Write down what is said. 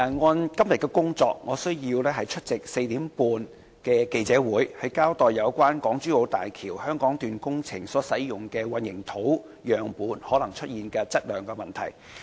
按照今天的工作，我需要出席下午4時30分舉行的記者會，交代有關港珠澳大橋香港段工程所使用的混凝土樣本可能出現的質量問題。